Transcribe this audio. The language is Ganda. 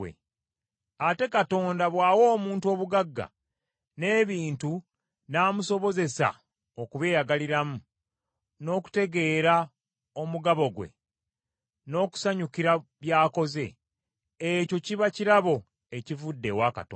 Ate Katonda bw’awa omuntu obugagga, n’ebintu n’amusobozesa okubyeyagaliramu, n’okutegeera omugabo gwe n’okusanyukira by’akoze, ekyo kiba kirabo ekivudde ewa Katonda.